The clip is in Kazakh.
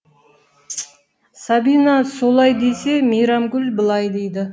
сабина солай десе мейрамгүл былай дейді